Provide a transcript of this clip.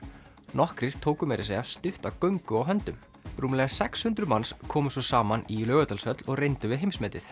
nokkrir tóku meira að segja stutta göngu á höndum rúmlega sex hundruð manns komu svo saman í Laugardalshöll og reyndu við heimsmetið